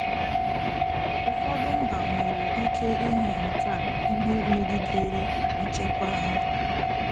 Ụfọdụ mba nwere ike ịhụ nke a ihe megidere nchekwa ha